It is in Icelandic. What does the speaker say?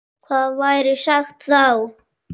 Hvað væri sagt þá?